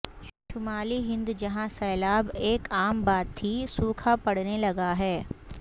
شمالی ہند جہاں سیلاب ایک عام بات تھی سوکھا پڑنے لگا ہے